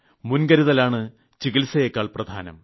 മുൻകരുതലാണ് ചികിത്സയെക്കാൾ പ്രധാനം